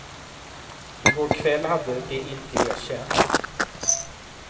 I går kväll hade de inte erkänt.